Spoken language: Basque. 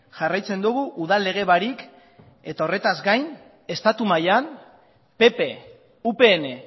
jarraitzen dugu udal lege barik eta horretaz gain estatu mailan pp upn